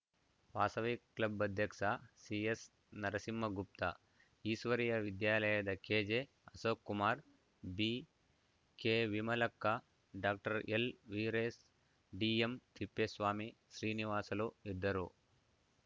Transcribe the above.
Vasavi club ಅಧ್ಯಕ್ಷ ಸಿಎಸ್‌ನರಸಿಂಹಗುಪ್ತ ಈಶ್ವರಿಯ ವಿದ್ಯಾಲಯದ ಕೆಜೆಅಶೋಕ್‌ಕುಮಾರ್‌ ಬಿಕೆವಿಮಲಕ್ಕ ಡಾಕ್ಟರ್ ಎಲ್‌ವೀರೇಶ್‌ ಡಿಎಂತಿಪ್ಪೇಸ್ವಾಮಿ ಶ್ರೀನಿವಾಸಲು ಇದ್ದರು